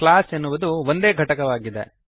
class ಎನ್ನವುದು ಒಂದೇ ಘಟಕವಾಗಿದೆ